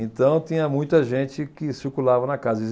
Então tinha muita gente que circulava na casa.